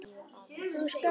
Þú skalt sko ekki halda.